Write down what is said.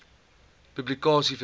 publikasie verskaf